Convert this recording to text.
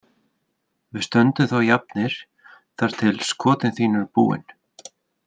Við stöndum þá jafnir þar til skotin þín eru búin.